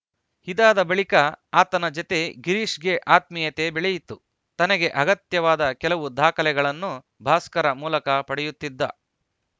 ಇದಾದ ಬಳಿಕ ಆತನ ಜತೆ ಗಿರೀಶ್‌ಗೆ ಆತ್ಮೀಯತೆ ಬೆಳೆಯಿತು ತನಗೆ ಅಗತ್ಯವಾದ ಕೆಲವು ದಾಖಲೆಗಳನ್ನು ಭಾಸ್ಕರ ಮೂಲಕ ಪಡೆಯುತ್ತಿದ್ದ